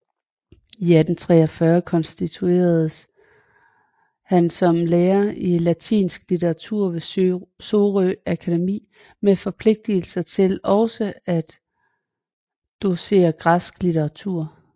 I 1843 konstitueredes han som lærer i latinsk litteratur ved Sorø Akademi med forpligtelse til også at docere græsk litteratur